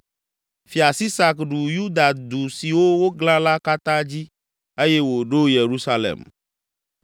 Fia Sisak ɖu Yuda du siwo woglã la katã dzi eye wòɖo Yerusalem.